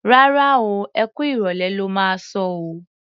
Rárá o, ẹ kú ìrọ̀lẹ́ lo máa sọ o.